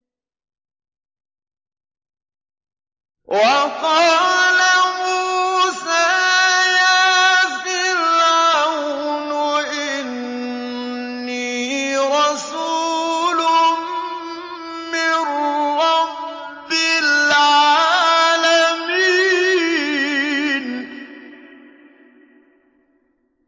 وَقَالَ مُوسَىٰ يَا فِرْعَوْنُ إِنِّي رَسُولٌ مِّن رَّبِّ الْعَالَمِينَ